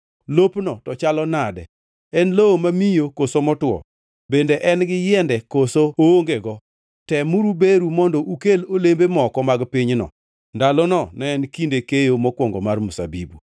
Lopno, to chalo nade? En lowo mamiyo koso motwo? Bende en gi yiende koso oongego? Temuru beru mondo ukel olembe moko mag pinyno.” (Ndalono ne en kinde keyo mokwongo mar mzabibu.)